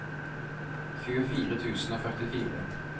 tjuefire tusen og førtifire